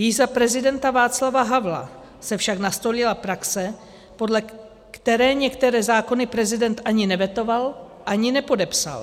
Již za prezidenta Václava Havla se však nastolila praxe, podle které některé zákony prezident ani nevetoval, ani nepodepsal.